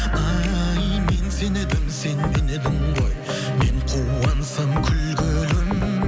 ай мен сен едім сен мен едің ғой мен қуансам күлгенің